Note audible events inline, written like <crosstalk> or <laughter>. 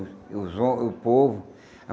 O os, <unintelligible> o povo.